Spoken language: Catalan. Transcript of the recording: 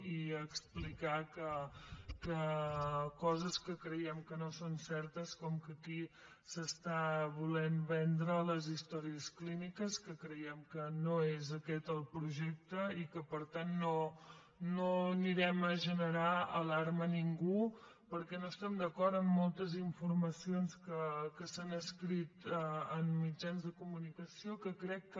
i explicar coses que creiem que no són certes com que aquí s’estan volent vendre les històries clíniques que creiem que no és aquest el projecte i que per tant no generarem alarma a ningú perquè no estem d’acord amb moltes informacions que s’han escrit en mitjans de comunicació que crec que